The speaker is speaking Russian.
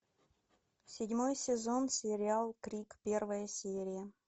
седьмой сезон сериал крик первая серия